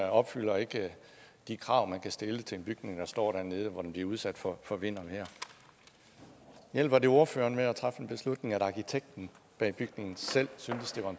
opfylder ikke de krav man kan stille til en bygning der står dernede hvor den bliver udsat for for vind og vejr hjælper det ordføreren med at træffe en beslutning at arkitekten bag bygningen selv syntes det var